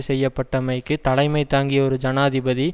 செய்யப்பட்டமைக்கு தலைமை தாங்கிய ஒரு ஜனாதிபதி